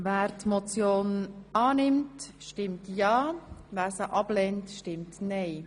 Wer die Motion annimmt, stimmt ja, wer sie ablehnt, stimmt nein.